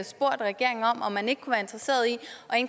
spurgt regeringen om om man ikke kunne være interesseret i